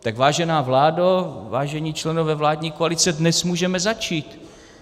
Tak vážená vládo, vážení členové vládní koalice, dnes můžeme začít.